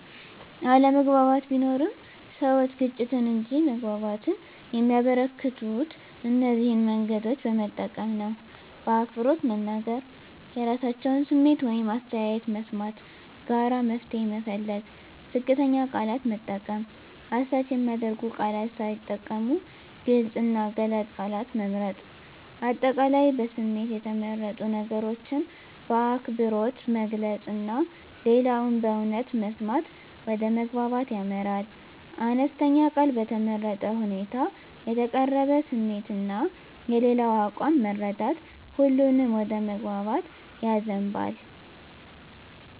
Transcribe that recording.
አለመግባባት ቢኖርም፣ ሰዎች ግጭትን እንጂ መግባባትን የሚያበረከቱት እነዚህን መንገዶች በመጠቀም ነው በአክብሮት መናገር – የራሳቸውን ስሜት ወይም አስተያየት መስማት ጋራ መፍትሄ መፈለግ ዝቅተኛ ቃላት መጠቀም – አሳች የሚያደርጉ ቃላት ሳይጠቀሙ ግልጽ እና ገላጭ ቃላት መምረጥ። አጠቃላይ በስሜት የተመረጡ ነገሮችን በአክብሮት መግለጽ እና ሌላውን በእውነት መስማት ወደ መግባባት ያመራል። አነስተኛ ቃል በተመረጠ ሁኔታ የተቀረበ ስሜት እና የሌላው አቋም መረዳት ሁሉንም ወደ መግባባት ያዘንባል።